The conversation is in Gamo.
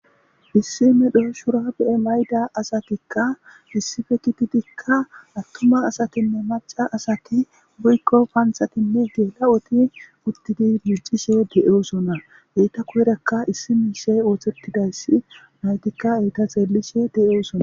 issi medho shura bu7e mayda asatikka issife kititikka attuma asatinne maca asati wuykko panthatinne geela7oti uttidi mircishe de7oosona eyta koyrakka issi mishe ooththettidayssi maytikka eita xeellishe de7osona